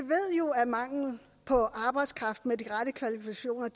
jo at mangel på arbejdskraft med de rette kvalifikationer